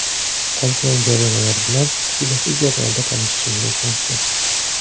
Qolgan jarimalar bilan quyidagi jadvalda tanishishingiz mumkin.